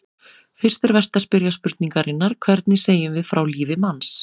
Fyrst er vert að spyrja spurningarinnar: hvernig segjum við frá lífi manns?